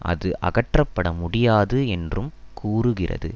அது அகற்றப்பட முடியாது என்றும் கூறுகிறது